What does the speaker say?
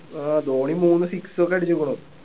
ആഹ് ധോണി മൂന്ന് six ഒക്കെ അടിച്ചേക്ക്ണു